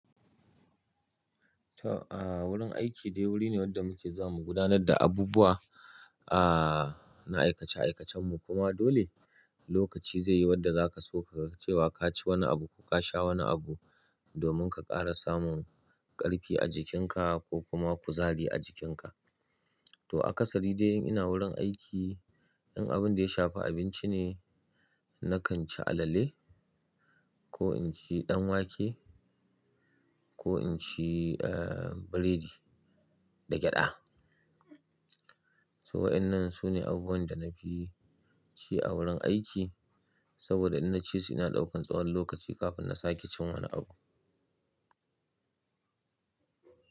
Ta a wurin aiki dai wuri ne wanda muke zuwamu gudanar da abubuwa a na aikace aikacen mu kuma dole lokaci zai yi wanda zaka so kaga ce wa ka ci wani abu ko ka sha wani abu domin ka ƙara samun ƙarfi a jikin ka ko kuma kuzari a jikin ka. To a kasari dai ina wurin aiki in abun da ya shafi abinci ne nakan ci alale ko in ci ɗan wake ko in ci eh burodi da gyaɗa. To wa'ennan su ne abubuwan da na fi ci a wurin aiki saboda in na ci su ina ɗaukan tsawon lokaci kafin na sake cin wani abu.